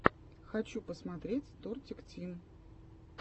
хочу посмотреть тортик тим